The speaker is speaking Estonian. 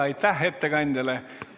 Aitäh ettekandjale!